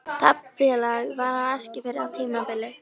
Taflfélag var á Eskifirði á tímabili.